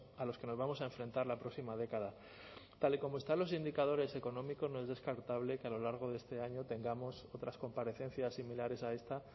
a los que nos vamos a enfrentar la próxima década tal y como están los indicadores económicos no es descartable que a lo largo de este año tengamos otras comparecencias similares a esta